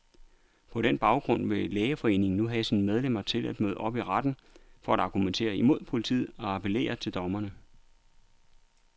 På den baggrund vil lægeforeningen nu have sine medlemmer til at møde op i retten, for at argumentere imod politiet og appellere til dommerne.